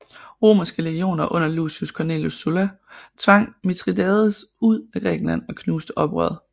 Romerske legioner under Lucius Cornelius Sulla tvang Mithridates ud af Grækenland og knuste oprøret